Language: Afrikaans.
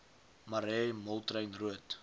marais moltrein roodt